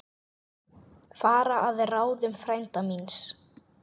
Fara að ráðum frænda míns.